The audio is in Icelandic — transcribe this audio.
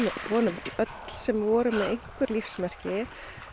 vonum öll sem voru með einhverju lífsmarki